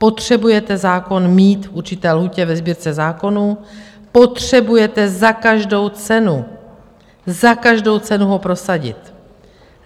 Potřebujete zákon mít v určité lhůtě ve Sbírce zákonů, potřebujete za každou cenu - za každou cenu ho prosadit.